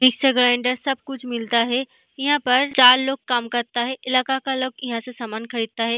Mixer grinder सब कुछ मिलता है यहाँ पर चार लोग काम करता है इलाका का लोग यहाँ से समान खरीदता है।